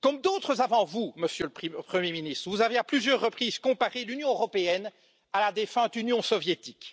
Comme d'autres avant vous, Monsieur le Premier ministre, vous avez à plusieurs reprises comparé l'Union européenne à la défunte Union soviétique.